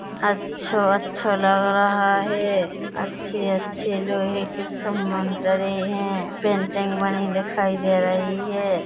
अच्छों-अच्छा लग रहा है अच्छे - अच्छे लोहे के खमंदरेय है पेंटिंग बनी दिखाई दे रही है।